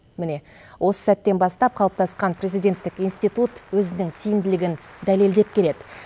міне осы сәттен бастап қалыптасқан президенттік институт өзінің тиімділігін дәлелдеп келеді